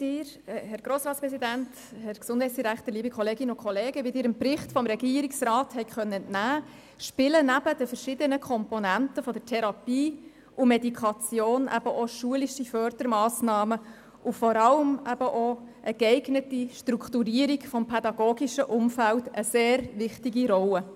Wie Sie dem Bericht des Regierungsrats entnehmen konnten, spielen neben den verschiedenen Komponenten der Therapie und Medikation auch schulische Fördermassnahmen und vor allem auch eine geeignete Strukturierung des pädagogischen Umfelds eine sehr wichtige Rolle.